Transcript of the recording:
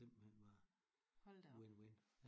Simpelthen bare win-win